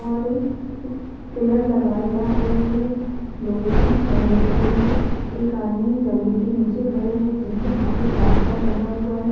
और एक पिलर लगाए जा रहे है लोहे की छड़ लग रही है एक आदमी जमीन के नीचे खड़े है जिनके हाथ में प्लास्टर बंधा हुआ है।